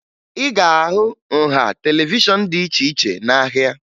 Ị ga-ahụ nha televishọn dị iche iche n'ahịa